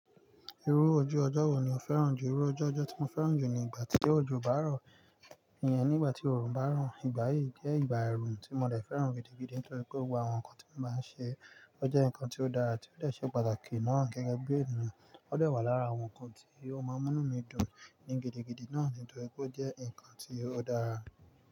Irú ojú ọjọ́ wo ni o fẹ́ràn jù? Irú ojú ọjọ́ tí mo fẹ́ràn jù ni ìgbà tí ojú ọjọ́ bá rọ̀, ìyẹn ní ìgbà tí oòrùn bá rọ̀. Ìgbà yí jẹ́ ìgbà oòrùn tí mo lè fẹ́ràn gidi, nítorí pé gbogbo àwọn nǹkan tí mo máa ń ṣe, ó jẹ́ nǹkan tí ó dára àti ó lè ṣe pàtàkì náà gẹ́gẹ́ bí èèyàn. Ó dè wà lára àwọn nǹkan tí ó máa mú inu mí dùn ní gidigidi náà nítorí pé ó jẹ́ nǹkan tí ó dára.